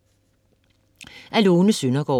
Af Lone Søgaard